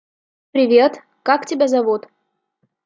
привет как тебя зовут